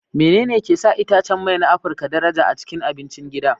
Menene ke sa itacen mai na Afirka daraja a cikin abincin gida?